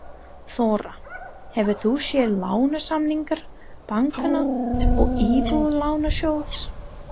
Þóra: Hefur þú séð lánasamninga bankanna og Íbúðalánasjóðs?